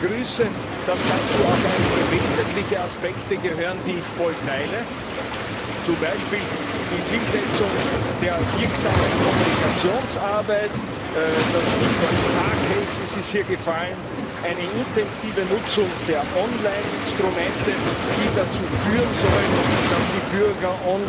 Ich begrüße, dass dazu auch einige wesentliche Aspekte gehören, die ich voll teile zum Beispiel die Zielsetzung der wirksamen Kommunikationsarbeit das Stichwort star cases ist hier gefallen eine intensive Nutzung der Online Instrumente, die es ermöglichen sollen, dass die Bürger